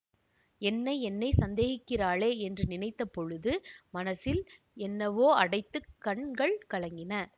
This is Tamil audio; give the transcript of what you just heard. என்னை என்னை சந்தேகிக்கிறாளே என்று நினைத்த பொழுது மனசில் என்னவோ அடைத்து கண்கள் கலங்கின